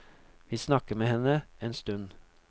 Vi snakker med henne en stund.